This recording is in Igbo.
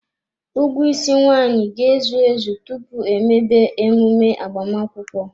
Ụgwọ isi nwaanyị ga-ezu ezu tupu emebe emume agbamakwụkwọ.